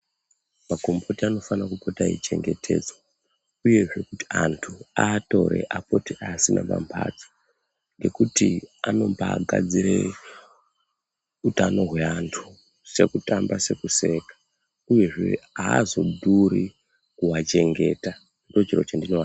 Makombiyuta anofana kupota eichengetsedza uyezve kuti antu aatore apote aiasima pamhatso. Ngekuti anomba gadzire utano hweantu sekutamba sekuseka, uyezve haazodhuri kuvachengeta ndochiro chandinoadira.